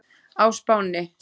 á Spáni.